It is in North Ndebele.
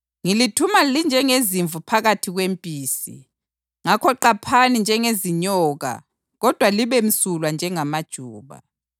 Ngilithuma linjengezimvu phakathi kwempisi. Ngakho qaphani njengezinyoka kodwa libemsulwa njengamajuba.